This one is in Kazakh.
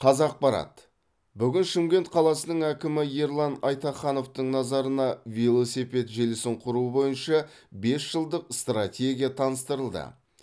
қазақпарат бүгін шымкент қаласының әкімі ерлан айтахановтың назарына велосипед желісін құру бойынша бес жылдық стратегия таныстырылды